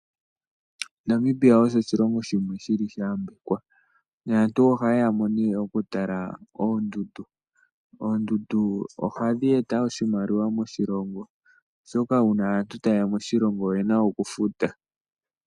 Namibia osho oshilongo shimwe shili sha yambekwa naantu ohaye yamo nee okutala oondudu. Oondudu ohadhi eta oshimaliwa moshilongo oshoka uuna aantu ta yeya moshilongo oyena okufuta.